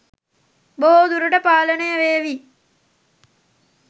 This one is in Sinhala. බොහෝ දුරට පාලනය වේවි.